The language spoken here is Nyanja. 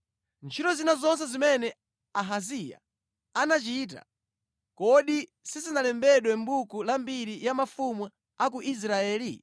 Ntchito zina zonse zimene Ahaziya anachita, kodi sizinalembedwe mʼbuku la mbiri ya mafumu a ku Israeli?